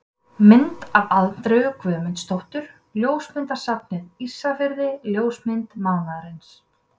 Mynd af Andreu Guðmundsdóttur: Ljósmyndasafnið Ísafirði Ljósmynd mánaðarins.